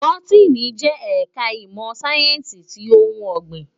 Bótìní jè èkò imò sáyènsí ti óoùn ògbín